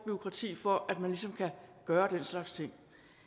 bureaukrati for at man ligesom kan gøre den slags ting